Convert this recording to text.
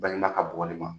Baɲumankɛ bɔgɔ de ma